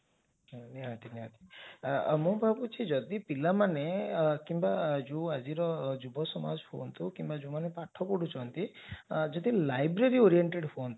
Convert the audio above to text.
ନିହାତି ନିହାତି ମୁଁ ଭାବୁଛି ଯଦି ପିଲାମାନେ କିମ୍ବା ଜଉ ଆଜିର ଯୁବସମାଜ ହୁଅନ୍ତୁ କିମ୍ବା ଯାଉମାନେ ପାଠ ପଢୁଛନ୍ତି ଯଦି library oriented ହୁଅନ୍ତେ